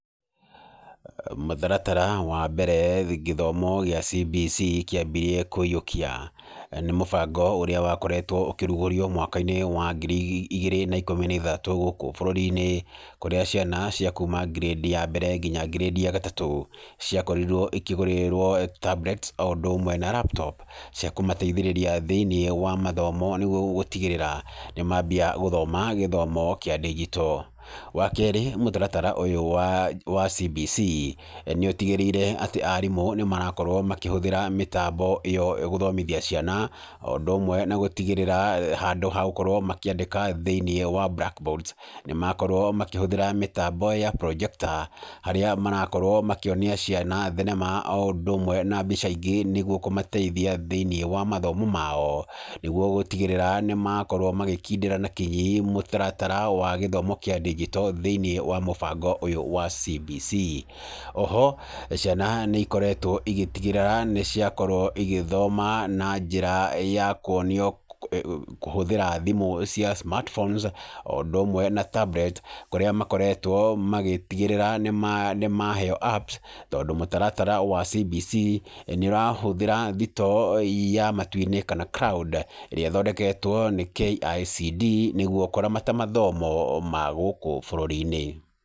Mũtaratara wa mbere gĩthomo gĩa CBC kĩambirie kũiyũkia nĩ mũbango ũrĩa wakoretwo ũkĩrugũrio mwaka-inĩ wa ngiri igĩrĩ na ikũmi na ithatũ gũkũ bũrũri-inĩ, kũrĩa ciana cia kuma ngirendi ya mbere nginya ngirĩndi ya gatatũ, ciakorirwo ikĩgũrĩrwo Tablets o ũndũ ũmwe na laptops cia kũmateithĩrĩria thĩ-inĩ wa mathomo nĩguo gũtigĩrĩra nĩ mambia gũthoma gĩthomo kĩa ndingito. Wa kerĩ mũtaratara ũyũ wa CBC, nĩ ũtigĩrĩire atĩ arimũ nĩ marakorwo makĩhũthĩra mĩtambo ĩyo gũthomithia ciana, o ũndũ ũmwe na gũtigĩrĩra handũ ha gũkorwo makĩandĩka thĩ-inĩ wa blackboards nĩ makorwo makĩhũthĩra mĩtambo ya projector harĩa marakorwo makĩonia ciana thenema o ũndũ ũmwe na mbica ingĩ nĩguo kũmateithia thĩ-inĩ wa mathomo mao, nĩguo gũtigĩrĩra nĩ makorwo magĩkindĩra na kinyi mũtaratara wa gĩthomo kĩa ndingito thĩ-inĩ wa mũbango ũyũ wa CBC. O ho ciana nĩ ikoretwo igĩtigĩrĩra nĩ ciakorwo igĩthoma na njĩra ya kuonio kũhũthĩra thimũ cia smartphones o ũndũ ũmwe na tablet kũrĩa makoretwo magĩtigĩrĩra nĩ maheo apps tondũ mũtaratara wa CBC nĩ ũrahũthĩra thitoo ya matu-inĩ kana cloud ĩrĩa ĩthondeketwo nĩ KICD nĩguo kũramata mathomo ma gũkũ bũrũri-inĩ.